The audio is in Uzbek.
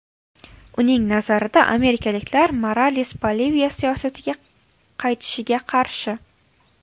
Uning nazarida, amerikaliklar Morales Boliviya siyosatiga qaytishiga qarshi.